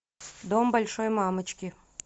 дом большой мамочки